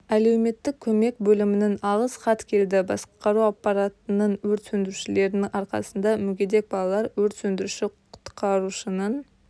әлеуметтік көмек бөлімінің алғыс хат келді басқару аппаратының өрт сөндірушілердің арқасында мүгедек балалар өрт сөндіруші-құтқарушының